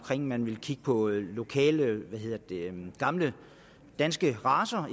at man vil kigge på lokale gamle danske racer